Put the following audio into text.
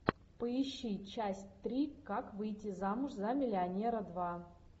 поищи часть три как выйти замуж за миллионера два